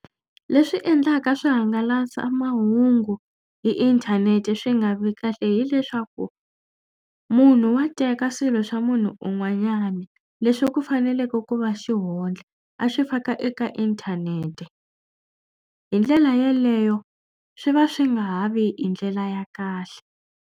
Le swi endlaka swihangalasamahungu hi inthanete swi nga vi kahle hileswaku munhu wa teka swilo swa munhu un'wanyani leswi ku faneleke ku va xihundla a swi faka eka inthanete. Hi ndlela yaleyo swi va swi nga ha vi hi ndlela ya kahle.